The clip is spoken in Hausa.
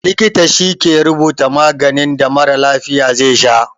Likita shi ke rubuta maganin da mara lafiya ze sha